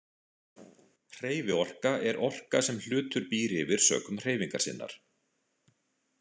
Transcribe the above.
Hreyfiorka er orka sem hlutur býr yfir sökum hreyfingar sinnar.